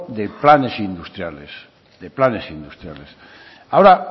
de planes industriales de planes industriales ahora